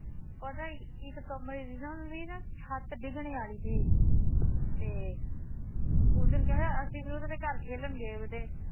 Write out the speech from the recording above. ਪਰ ਇੱਕ ਨਾ ਇੱਕ ਕਮਰੇ ਦੀ ਨਾ ਉਹਨਾਂ ਦੀ ਛੱਤ ਡਿਗਣੇ ਆਲੀ ਤੀ ਤੇ ਉਸ ਦਿਨ ਕਿਆ ਹੋਇਆ ਅਸੀਂ ਵੀ ਉਹਨਾਂ ਦੇ ਘਰ ਖੇਲਣ ਗਏਵੇ ਤੇ